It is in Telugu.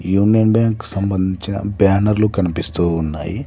యూనియన్ బ్యాంక్ సంబంధించిన బ్యానర్లు కనిపిస్తూ ఉన్నాయి